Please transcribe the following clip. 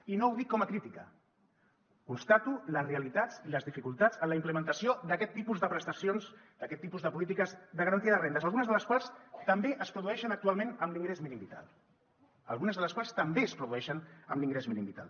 i no ho dic com a crítica constato les realitats i les dificultats en la implementació d’aquest tipus de prestacions d’aquest tipus de polítiques de garantia de rendes algunes de les quals també es produeixen actualment amb l’ingrés mínim vital algunes de les quals també es produeixen amb l’ingrés mínim vital